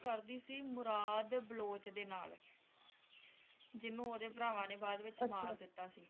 ਉਹ ਕਰਦੀ ਸੀ ਮੁਰਾਦ ਬਲੋਚ ਦੇ ਨਾਲ ਜਿਹਨੂੰ ਓਹਦੇ ਭਰਾਵਾਂ ਨੇ ਬਾਅਦ ਵਿਚ ਮਾਰ ਦਿੱਤਾ ਸੀ